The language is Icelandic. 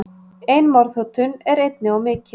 Ein morðhótun er einni of mikið.